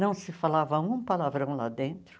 Não se falava um palavrão lá dentro.